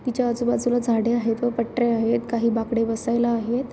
तिच्या आजू बाजूला झाडे आहेत व पटऱ्या आहेत काही बाकडे बसायला आहेत.